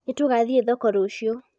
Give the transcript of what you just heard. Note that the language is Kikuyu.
nĩtũgathĩĩ thoko ruciu